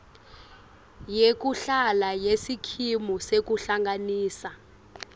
yekuhlala yesikimu sekuhlanganisa